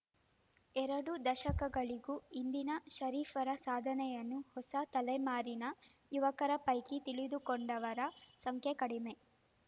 ಎರಡು ದಶಕಗಳಿಗೂ ಹಿಂದಿನ ಷರೀಫರ ಸಾಧನೆಯನ್ನು ಹೊಸ ತಲೆಮಾರಿನ ಯುವಕರ ಪೈಕಿ ತಿಳಿದುಕೊಂಡವರ ಸಂಖ್ಯೆ ಕಡಿಮೆ